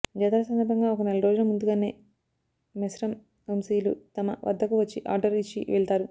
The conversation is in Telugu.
జాతర సందర్భంగా ఒక నెల రోజుల ముందుగానే మెస్రం వంశీయులు తమ వద్దకు వచ్చి ఆర్డర్ ఇచ్చి వెళ్తారు